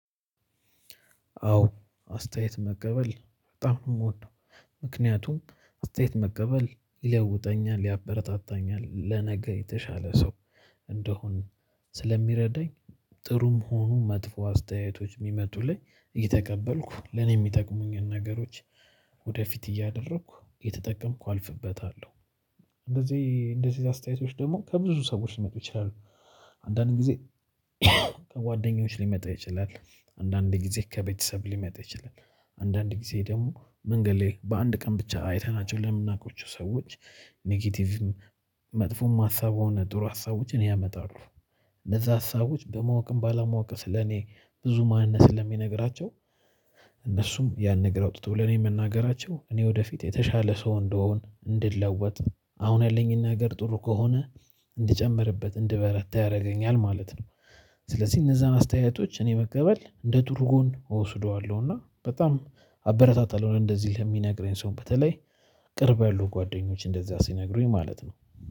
አዎ አስተያየት መቀበል በጣም ነው ምወደው። ምክንያቱም አስተያየት መቀበል ይለውጠኛል ያበረታታኛል ለነገ የተሻለ ሰው እንደሆን ስለሚረዳኝ። ጥሩም ሆኖ መጥፎ አስተያየቶች ሚመጡልኝ እየተቀበልኩ ለኔ የሚጠቅሙኝን ነገሮች ወደፊት እያደረኩ እየተጠቀምኩ አልፍበታለሁ። እንደዚህ እንደዚህ አስተያየቶች ደግሞ ከብዙ ሰዎች ሊመጡ ይችላሉ። አንዳንድ ጊዜ ከጓደኞች ሊመጡ ይችላል። አንዳንድ ጊዜ ከቤተሰብ ሊመጣ ይችላል። አንዳንድ ጊዜ ደግሞ መንገድ ላይ በአንድ ቀን ብቻ አይተናቸው ለምናውቀው ሰዎች። ኔጌቲቭ መጥፎም ሀሳብ ሆነ ጥሩ ሀሳቦችን ያመጣሉ። እንደዛ ሀሳቦች በማወቅም ባለማወቅም ስለኔ ብዙ ማንነት ስለሚነግራቸው። እነሱም ያን ነገር አውትተው ለኔ መናገራቸው እኔ ወደፊት የተሻለ ሰው እንድሆን እንድለወጥ አሁን ያለኝን ነገር ጥሩ ከሆነ እንድጨምርበት እንድበረታ ያደርገኛል ማለት ነው። ስለዚህ እነዛን አስተያየቶች እኔ መቀበል እንደ ጥሩ ጎን እወስደዋለሁ። እና በጣም አበረታታለሁ እንደዚህ ለሚነግረኝ ሰው በተለይ ቅርብ ያሉ ጓደኞች እንደዛ ሲነግሩኝ ማለት ነው